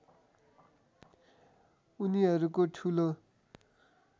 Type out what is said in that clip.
उनीहरूको ठूलो